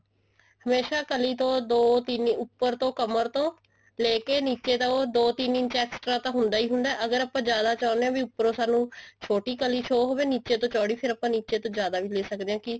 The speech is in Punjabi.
ਹਮੇਸ਼ਾ ਕਲੀ ਤੋਂ ਦੋ ਤਿੰਨ ਉੱਪਰ ਤੋਂ ਕਮਰ ਤੋਂ ਲੇਕੇ ਨਿੱਚੇ ਤੋਂ ਦੋ ਤਿੰਨ ਇੰਚ extra ਤਾਂ ਹੁੰਦਾ ਹੀ ਹੁੰਦਾ ਅਗਰ ਆਪਾਂ ਜਿਆਦਾ ਚਾਹੁੰਦੇ ਹਾਂ ਵੀ ਉੱਪਰੋ ਸਾਨੂੰ ਛੋਟੀ ਕਲੀ show ਹੋਵੇ ਨਿੱਚੇ ਤੋਂ ਚੋੜੀ ਫੇਰ ਆਪਾਂ ਨਿੱਚੇ ਤੋਂ ਜਿਆਦਾ ਵੀ ਲੇ ਸਕਦੇ ਹਾਂ ਕੀ